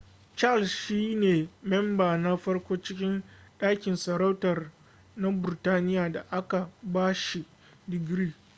charles shi ne memba na farko cikin dangin sarauta na burtaniya da aka ba shi digiri